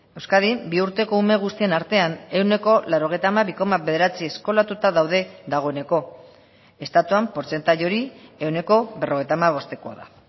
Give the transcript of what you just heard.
euskadin bi urteko ume guztien artean ehuneko laurogeita hamabi koma bederatzi eskolatuta daude dagoeneko estatuan portzentai hori ehuneko berrogeita hamabostekoa da